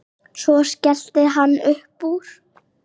Svo skellti hann upp úr.